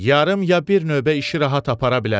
Yarım ya bir növbə işi rahat apara bilərəm.